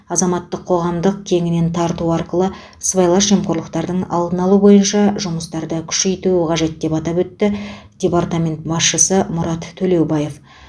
азаматтық қоғамдық кеңінен тарту арқылы сыбайлас жемқорлықтардың алдын алу бойынша жұмыстарды күшейтуі қажет деп атап өтті департамент басшысы мұрат төлеубаев